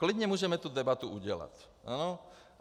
Klidně můžeme tu debatu udělat.